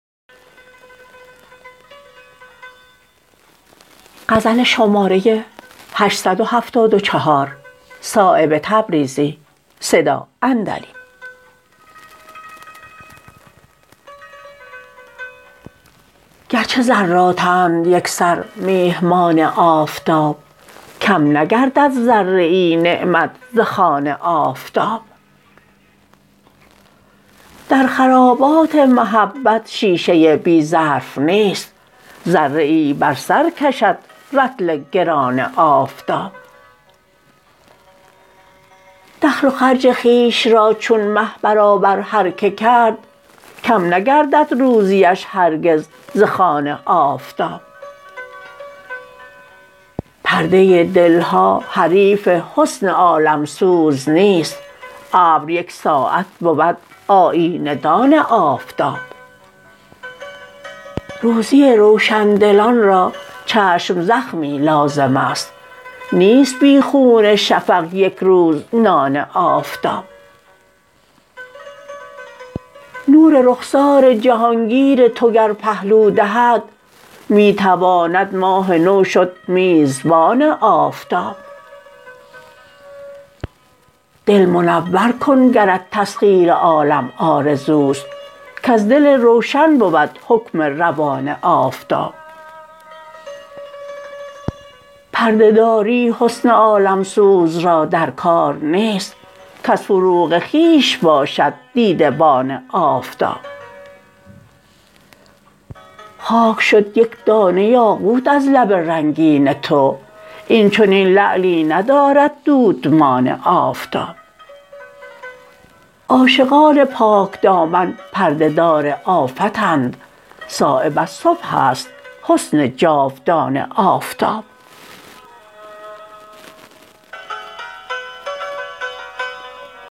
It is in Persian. گرچه ذراتند یکسر میهمان آفتاب کم نگردد ذره ای نعمت ز خوان آفتاب در خرابات محبت شیشه بی ظرف نیست ذره ای بر سر کشد رطل گران آفتاب دخل و خرج خویش را چون مه برابر هر که کرد کم نگردد روزیش هرگز ز خوان آفتاب پرده دلها حریف حسن عالمسوز نیست ابر یک ساعت بود آیینه دان آفتاب روزی روشندلان را چشم زخمی لازم است نیست بی خون شفق یک روز نان آفتاب نور رخسار جهانگیر تو گر پهلو دهد می تواند ماه نو شد میزبان آفتاب دل منور کن گرت تسخیر عالم آرزوست کز دل روشن بود حکم روان آفتاب پرده داری حسن عالمسوز را در کار نیست کز فروغ خویش باشد دیده بان آفتاب خاک شد یک دانه یاقوت از لب رنگین تو این چنین لعلی ندارد دودمان آفتاب عاشقان پاکدامن پرده دار آفتند صایب از صبح است حسن جاودان آفتاب